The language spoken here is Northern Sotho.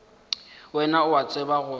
wena o a tseba gore